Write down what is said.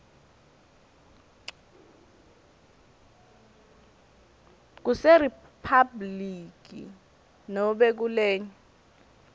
kuseriphabhuliki nobe kulenye